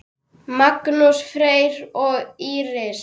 Magnús, Fanney og Íris.